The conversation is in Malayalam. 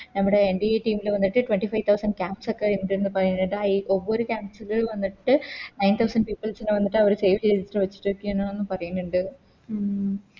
നമ്മുടെ NDATeams ല് വന്നിട്ട് Twenty five thousand camps ഒക്കെ ഇണ്ട് ന്ന് പറയിന്നിണ്ട് ആ Camps വന്നിട്ട് Nine thousand peoples നെ വന്നിട്ട് അവര് Save ചെയ്തിട്ട് വച്ചിട്ട്ണ്ട് എന്ന് ഒന്ന് പറയിന്നിണ്ട്